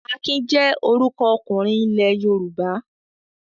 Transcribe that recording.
Akin jẹ́ orúkọ ọkùnrin ilẹ̀ Yorùbá.